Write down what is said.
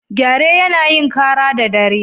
Gyare yana yin kara da dare.